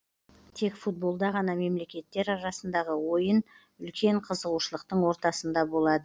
тек футболда ғана мемлекеттер арасындағы ойын үлкен қызығушылықтың ортасында болады